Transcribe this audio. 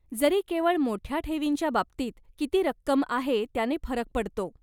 जरी केवळ मोठ्या ठेवींच्या बाबतीत किती रक्कम आहे त्याने फरक पडतो.